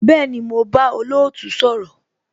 Bẹẹni, mo bá olootu sọ̀rọ̀